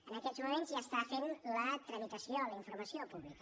en aquests moments s’està fent la tramitació la informació pública